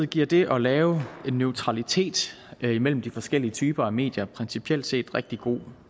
giver det at lave en neutralitet imellem de forskellige typer af medier principielt set rigtig god